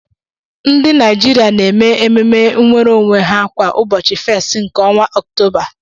Ndị Naijiria na-eme ememe nnwere onwe ha kwa ụbọchị 1st nke ọnwa Ọktoba.